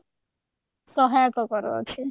ପ୍ରଭାବ ପକାଉଛି